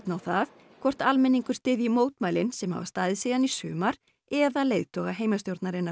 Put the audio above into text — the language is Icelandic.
á það hvort almenningur styðji mótmælin sem hafa staðið síðan í sumar eða leiðtoga heimastjórnarinnar